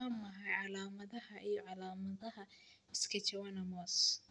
Waa maxay calaamadaha iyo calaamadaha schwannomas?